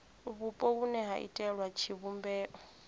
vhupo vhune ha iitela tshivhumbeo